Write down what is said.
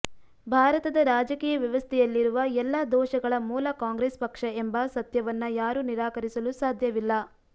ಭಾರತದ ರಾಜಕೀಯ ವ್ಯವಸ್ಥೆಯಲ್ಲಿರುವ ಎಲ್ಲ ದೋಷಗಳ ಮೂಲ ಕಾಂಗ್ರೆಸ್ ಪಕ್ಷ ಎಂಬ ಸತ್ಯವನ್ನ ಯಾರು ನಿರಾಕರಿಸಲು ಸಾಧ್ಯವಿಲ್ಲ